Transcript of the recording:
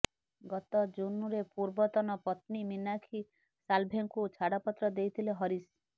ଗତ ଜୁନରେ ପୂର୍ବତନ ପତ୍ନୀ ମିନାକ୍ଷୀ ସାଲ୍ଭେଙ୍କୁ ଛାଡ଼ପତ୍ର ଦେଇଥିଲେ ହରିଶ